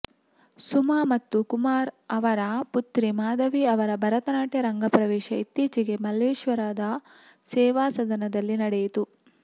ಸುಮಾ ಮತ್ತು ಕುಮಾರ್ ಅವರ ಪುತ್ರಿ ಮಾಧವಿ ಅವರ ಭರತನಾಟ್ಯ ರಂಗ ಪ್ರವೇಶ ಇತ್ತೀಚೆಗೆ ಮಲ್ಲೇಶ್ವರದ ಸೇವಾಸದನದಲ್ಲಿ ನಡೆಯಿತು